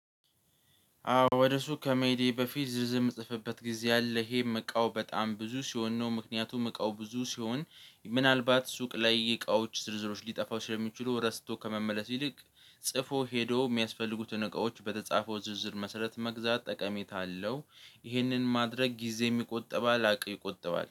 አዎ ወደ ሱቅ ከመሄዴ በፊት ዝርዝር እምጽፍበት ጊዜ አለ ይሄም እቃው በጣም ብዙ ሲሆን ነው ምክንያቱም እቃው ብዙ ሲሆን ምናልባት ሱቅ ላይ እቃዎች ዝርዝሮች ሊጠፋው ስለሚችሉ ረስቶ ከመመለስ ይልቅ ጽፎ ሄዶ የሚያስፈልጉትን እቃዎች በተጻፈው ዝርዝር መሰረት መግዛት ጠቀሜታ አለው። ይህንን ማድረግ ጊዜ የሚቆጠባል አቅም ይቆጥባል